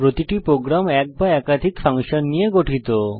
প্রতিটি প্রোগ্রাম এক বা একাধিক ফাংশন নিয়ে গঠিত